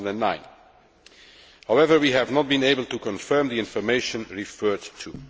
2009. However, we have not been able to confirm the information referred to.